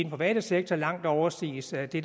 private sektor langt overstiges af det